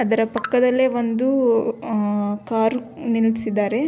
ಅದರ ಪಕ್ಕದಲ್ಲೇ ಒಂದು ಆಹ್ಹ್ ಕಾರ್ ನಿಲ್ಸಿದ್ದಾರೆ.